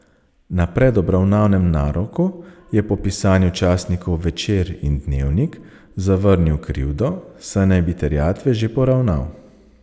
Na predobravnavnem naroku je po pisanju časnikov Večer in Dnevnik zavrnil krivdo, saj naj bi terjatve že poravnal.